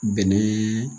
Bɛnɛ